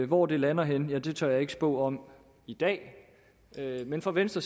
hvor det lander henne tør jeg ikke spå om i dag men for venstre